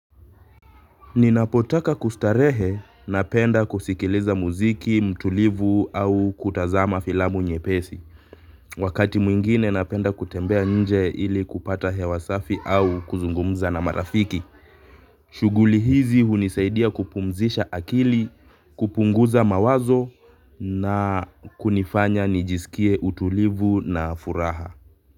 Ninapotaka kustarehe napenda kusikiliza mziki mtulivu au kutazama filamu nyepesi. Wakati mwingine napenda kutembea nje ili kupata hewa safi au kuzungumza na marafiki. Shughuli hizi hunisaidia kupumzisha akili, kupunguza mawazo na kunifanya nijisikie utulivu na furaha.